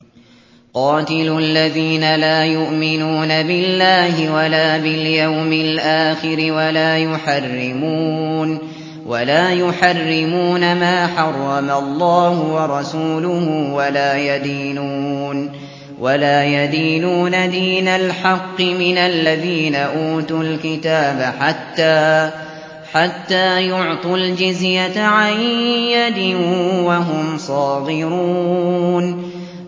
قَاتِلُوا الَّذِينَ لَا يُؤْمِنُونَ بِاللَّهِ وَلَا بِالْيَوْمِ الْآخِرِ وَلَا يُحَرِّمُونَ مَا حَرَّمَ اللَّهُ وَرَسُولُهُ وَلَا يَدِينُونَ دِينَ الْحَقِّ مِنَ الَّذِينَ أُوتُوا الْكِتَابَ حَتَّىٰ يُعْطُوا الْجِزْيَةَ عَن يَدٍ وَهُمْ صَاغِرُونَ